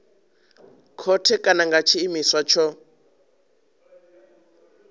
khothe kana nga tshiimiswa tsho